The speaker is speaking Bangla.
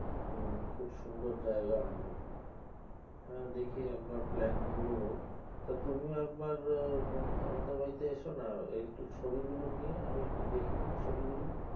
হম খুব সুন্দর জায়গা হবে। হ্যাঁ দেখি একবার plan করব। টা তুমি একবার আমাদের বাড়িতে এসো না একটু ছবিগুলো নিয়ে আমি একটু দেখে নি ছবিগুলো।